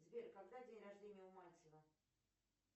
сбер когда день рождения у мальцева